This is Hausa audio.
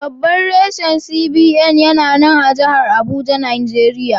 Babban rashin CBN yana nan a jahar Abuja, Najeriya.